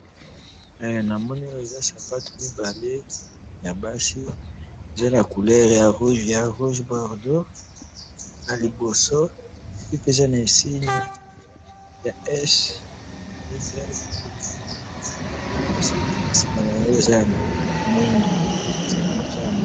namoni oyo eza sapatu mibale ya basi, eza na couleur ya rouge-baurdeaux, na liboso eza na insigne ya S na Y, na sima nango eza ya moindu, eza ya moindu